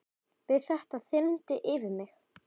Við þetta þyrmdi yfir mig.